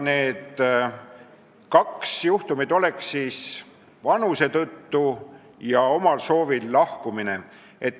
" Need kaks juhtumit on ametist vabastamine vanuse tõttu ja omal soovil lahkumine.